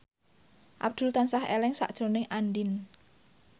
Abdul tansah eling sakjroning Andien